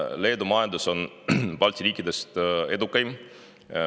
Leedu majandus on Balti riikide majandustest edukaim.